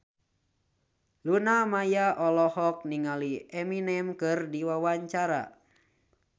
Luna Maya olohok ningali Eminem keur diwawancara